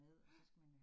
Ja